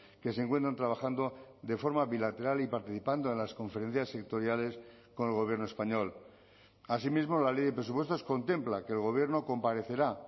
que se encuentran trabajando de forma bilateral y participando en las conferencias sectoriales con el gobierno español asimismo la ley de presupuestos contempla que el gobierno comparecerá